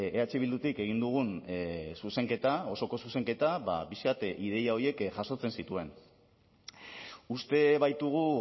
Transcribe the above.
eh bildutik egin dugun zuzenketa osoko zuzenketa ba pixka bat ideia horiek jasotzen zituen uste baitugu